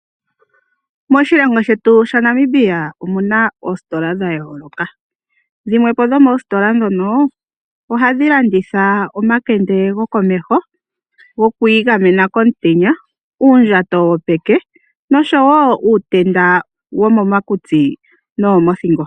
Moshilongo shetu sha Namibia omuna oositola dha yooloka. Dhimwe po dho moositola ndhono ohadhi landitha omakende gokomeho goku igamena komutenya, uundjato wopeke noshowo uutenda womo makutsi nowo mothingo.